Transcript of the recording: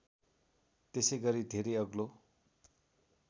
त्यसैगरी धेरै अग्लो